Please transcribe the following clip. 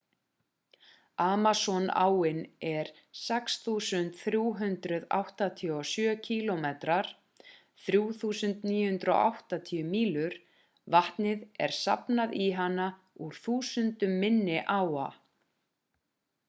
amazon-áin er 6.387 km 3.980 mílur. vatni er safnað í hana úr þúsundum minni áa